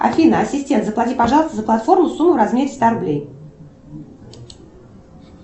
афина ассистент заплати пожалуйста за платформу сумму в размере ста рублей